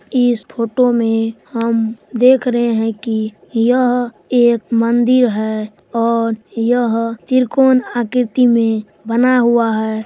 इस फोटो मे हम देख रहे हैं की यह एक मंदिर है और यह त्रिकोण आकृति मे बना हुआ है।